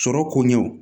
Sɔrɔ koɲɛw